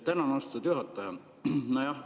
Tänan, austatud juhataja!